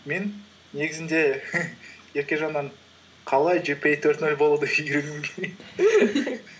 мен негізінде еркежаннан қалай джипиэй төрт нөл болуды үйренгім